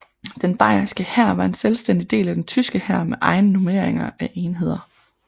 Den bayerske hær var en selvstændig del af den tyske hær med egen nummerering af enheder